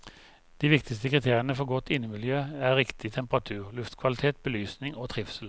De viktigste kriteriene for godt innemiljø er riktig temperatur, luftkvalitet, belysning og trivsel.